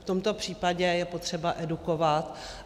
V tomto případě je potřeba edukovat.